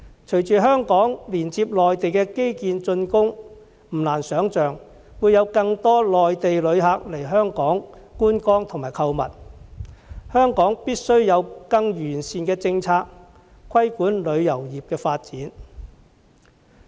隨着香港連接內地基建竣工，不難想象會有更多內地旅客來港觀光購物，香港必須有更完善的政策，規管旅遊業的發展。